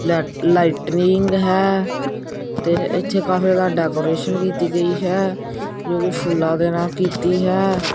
Red lightning ਹੈ ਤੇ ਇਥੇ ਕਾਫੀ ਡੈਕੋਰੇਸ਼ਨ ਕੀਤੀ ਗਈ ਹੈ ਜੋ ਵੀ ਫੁੱਲਾਂ ਦੇ ਨਾਲ ਕੀਤੀ ਹੈ।